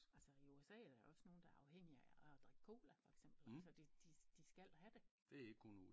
Altså i USA er der jo også nogle der er afhængige af at drikke cola for eksempel altså de de de skal have det